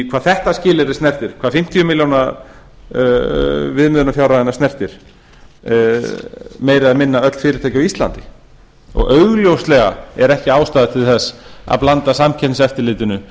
hvað þetta skilyrði snertir hvað fimmtíu milljónir viðmiðunarfjárhæðina snertir meira og minna öll fyrirtæki á íslandi augljóslega er ekki ástæða til þess að blanda samkeppniseftirlitinu